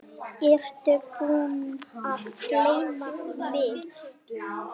Ertu búinn að gleyma mig?